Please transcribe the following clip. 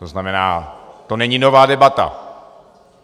To znamená, to není nová debata.